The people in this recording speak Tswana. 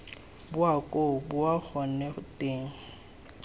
boa koo boa gone teng